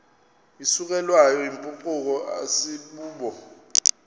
isukelwayo yimpucuko asibubo